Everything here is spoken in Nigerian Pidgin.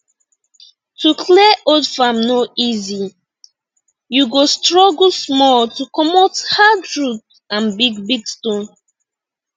to clear old farm no easy you go struggle small to comot hard root and big big stone